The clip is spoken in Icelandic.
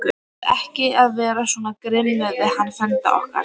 Þú átt ekki vera svona grimmur við hann frænda okkar!